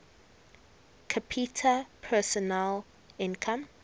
capita personal income